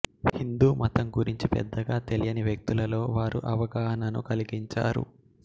హిందూమతం గురించి పెద్దగా తెలియని వ్యక్తులలో వారు అవగాహనను కలిగించారు